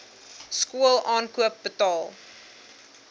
skool aankoop betaal